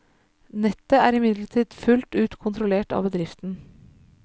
Nettet er imidlertid fullt ut kontrollert av bedriften.